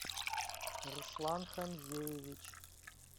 руслан хамзеевич